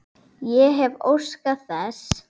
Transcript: Ég hefði óskað þess.